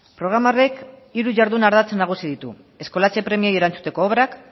programa horrek hiru jardun ardatz nagusi ditu eskolatze premiei erantzuteko obrak